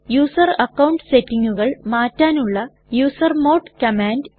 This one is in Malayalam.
യൂസർ അക്കൌണ്ട് സെറ്റിങ്ങുകൾ മാറ്റാനുള്ള യൂസർമോഡ് കമാൻഡ്